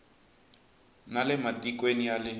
na le matikweni ya le